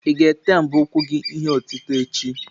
Ị ga-ete mbọ ụkwụ gị ihe otite echi?